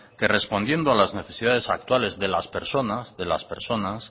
que respondiendo a las necesidades actuales de las personas